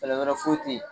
Fɛɛrɛ wɛrɛ foyi tɛ yen